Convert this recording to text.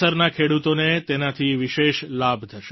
કેસરના ખેડૂતોને તેનાથી વિશેષ લાભ થશે